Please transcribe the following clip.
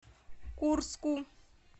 курску